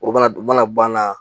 O mana banna